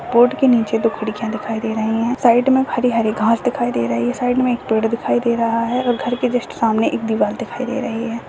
के निचे दो खिड़किया दिखाई दे रहे है साइड में हरी हरी घास दिखाई दे रहे है साइड में एक पेड़ दिखाई दे रहा है घर के जस्ट सामने एक दीवार दिखाई दे रही है।